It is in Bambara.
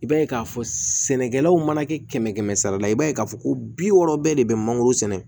I b'a ye k'a fɔ sɛnɛkɛlaw mana kɛ kɛmɛ kɛmɛ sara la i b'a ye k'a fɔ ko bi wɔɔrɔ bɛɛ de bɛ mangoro sɛnɛ